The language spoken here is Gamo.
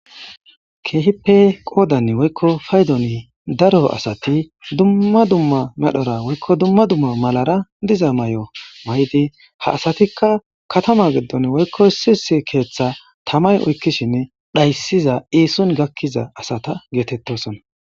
keehipe qoodan woykko paydon daro asati dumma dumma medhora woykko dumma dumma malara diza may7o may7idi ha asatikka katama geddon woykko sisi keeththa tamay oykkishinne dhayssiza iison gakkiza asata geetettosona